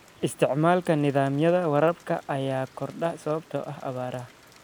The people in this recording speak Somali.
Isticmaalka nidaamyada waraabka ayaa kordhay sababtoo ah abaaraha.